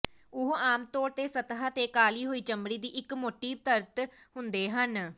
ਉਹ ਆਮ ਤੌਰ ਤੇ ਸਤਹ ਤੇ ਕਾਲ਼ੀ ਹੋਈ ਚਮੜੀ ਦੀ ਇੱਕ ਮੋਟੀ ਪਰਤ ਹੁੰਦੇ ਹਨ